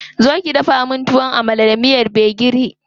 Zo ki dafa min Tuwon Amala da miyar gbegiri.